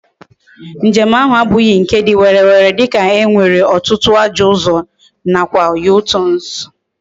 Njem ahu abughi nke di werere dika e nwere otutu ajo uzo na kwa U-turns